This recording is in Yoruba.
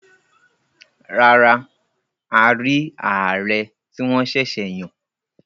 Rárá, a rí ààrẹ tí wọ́n sẹ̀sẹ̀ yàn.